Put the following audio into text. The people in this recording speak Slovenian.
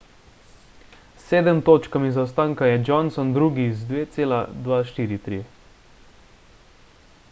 s sedem točkami zaostanka je johnson drugi z 2.243